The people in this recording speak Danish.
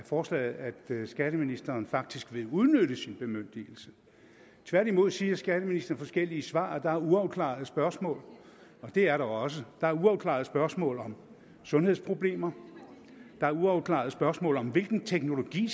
forslaget at skatteministeren faktisk vil udnytte sin bemyndigelse tværtimod siger skatteministeren i forskellige svar at der er uafklarede spørgsmål og det er der også der er uafklarede spørgsmål om sundhedsproblemer der er uafklarede spørgsmål om hvilken teknologi